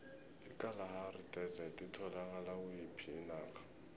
ikalahari desert itholakala kuyiphi inarha